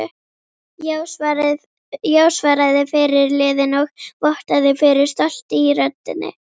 Já, svaraði fyrirliðinn og vottaði fyrir stolti í röddinni.